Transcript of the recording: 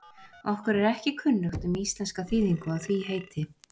Okkur er ekki kunnugt um íslenska þýðingu á því heiti.